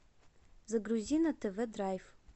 загрузи на тв драйв